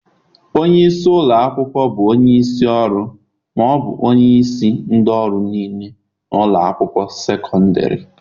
Onye isi ụlọ akwụkwọ bụ onye isi ọrụ ma ọ bụ onye isi ndị ọrụ niile na ụlọ akwụkwọ sekọndrị